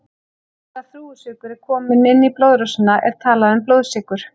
Eftir að þrúgusykur er kominn inn í blóðrásina er talað um blóðsykur.